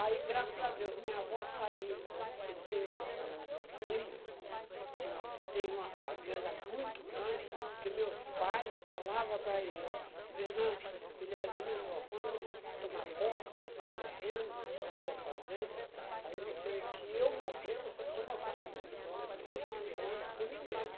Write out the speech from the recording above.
Aí, graças a Deus, minha avó saiu, porque tinha o meu primo, tinha uma teve uma fazenda muito grande, porque meus pais falava para ele, Venâncio, ele era de menor, quando você tomar posse do seu terreno, da sua fazenda, aí você, que eu morrer, você toma conta do meu filho, não deixa o Antônio com ninguém.